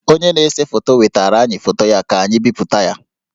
Onye na-ese foto wetaara anyị foto ya ka anyị bipụta ya